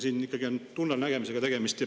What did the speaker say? Siin ikkagi on tunnelnägemisega tegemist.